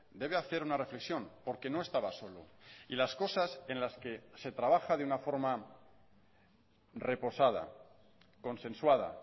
debe hacer una reflexión porque no estaba solo y las cosas en las que se trabaja de una forma reposada consensuada